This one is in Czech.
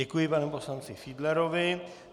Děkuji panu poslanci Fiedlerovi.